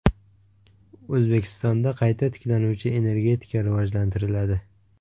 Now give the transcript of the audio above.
O‘zbekistonda qayta tiklanuvchi energetika rivojlantiriladi.